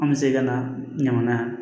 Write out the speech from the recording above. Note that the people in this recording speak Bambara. An bɛ segin ka na ɲaman na